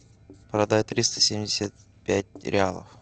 продать триста семьдесят пять реалов